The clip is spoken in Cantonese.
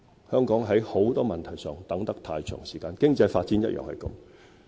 香港在很多問題上，拖得太長時間，經濟發展也是這樣。